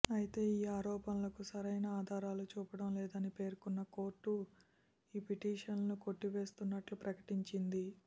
అయితే ఈ ఆరోపణలకు సరైన ఆధారాలు చూపడం లేదని పేర్కొన్న కోర్టు ఈ పిటిషన్లను కొట్టివేస్తున్నట్లు ప్రకటించింది